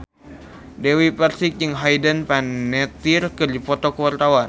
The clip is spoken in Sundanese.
Dewi Persik jeung Hayden Panettiere keur dipoto ku wartawan